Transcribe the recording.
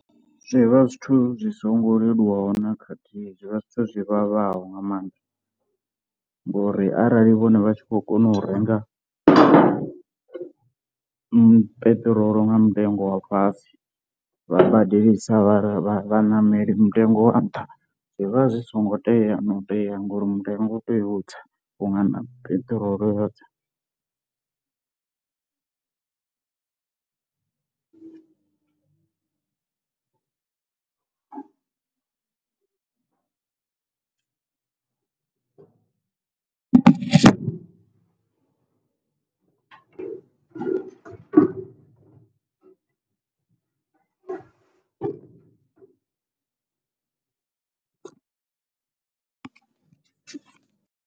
Zwivha zwithu zwi songo leluwaho na khathihi, zwi vha zwi zwithu zwi vhavhaho nga maanḓa ngori arali vhone vha tshi khou kona u renga peṱirolo nga mutengo wa fhasi vha badelisa vha vhaṋameli mutengo wa nṱha, zwi vha zwi songo tea no tea ngori mutengo u tea utsa vhunga na peṱirolo yo tsa.